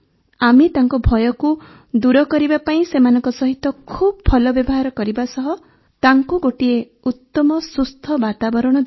ଆମେ ତାଙ୍କ ଭୟକୁ ଦୂର କରିବା ପାଇଁ ସେମାନଙ୍କ ସହିତ ଖୁବ୍ ଭଲ ବ୍ୟବହାର କରିବା ସହ ତାଙ୍କୁ ଗୋଟିଏ ଉତମ ସୁସ୍ଥ ବାତାବରଣ ଦେଲୁ